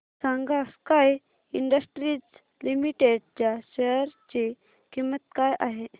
सांगा Sky Industries Limited च्या share ची किंमत काय आहे